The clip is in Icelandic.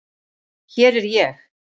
Hér er ég!!